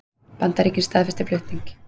Bandaríkin staðfesta stuðning